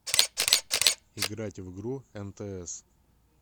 играть в игру нтс